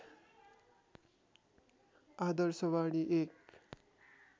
आदर्शवाणी एक